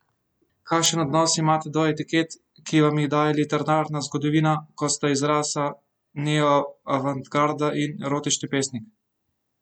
Kakšen odnos imate do etiket, ki vam jih daje literarna zgodovina, kot sta izraza neoavantgarda in erotični pesnik?